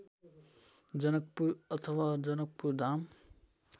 जनकपुर अथवा जनकपुरधाम